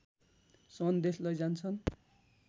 सन्देश लैजान्छन्